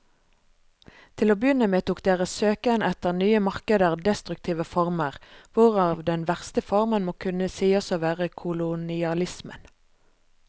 Til å begynne med tok deres søken etter nye markeder destruktive former, hvorav den verste formen må kunne sies å være kolonialismen.